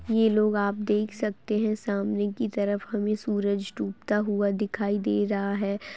ये लोग आप देख सकते हैं सामने की तरफ हमें सूरज डूबता हुआ दिखाई दे रहा है।